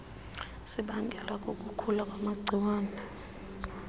sibangelwa kukukhula kwamagciwane